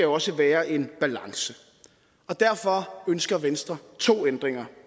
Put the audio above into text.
også være en balance og derfor ønsker venstre to ændringer